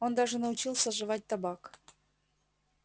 он даже научился жевать табак